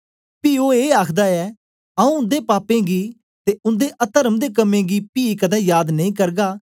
पी ओ ए आखदा ऐ आऊँ उन्दे पापें गी ते उन्दे अतर्म दे कम्में गी पी कदें याद नेई करगा